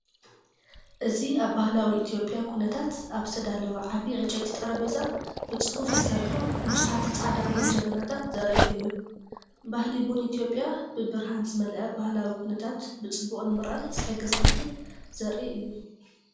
እዚ ኣብ ባህላዊ ኢትዮጵያዊ ኩነታት ኣብ ዝተዳለወ ዓቢ ዕንጨይቲ ጠረጴዛ ብጽፉፍ ተሰሪዖም ብዙሓት ጻዕዳ ቡን ጀበናታት ዘርኢ እዩ። ባህሊ ቡን ኢትዮጵያ ብብርሃን ዝመልአ ባህላዊ ኩነታት ብጽቡቕ ንምርኣይ ዝሕግዝ ዕድል ዘርኢ እዩ።